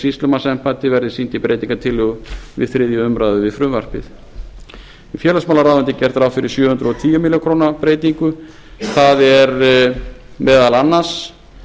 sýslumannsembætti verði sýnd í breytingartillögu við þriðju umræðu við frumvarpið við félagsmálaráðuneytið er gert ráð fyrir sjö hundruð og tíu milljónir króna breytingu það er meðal annars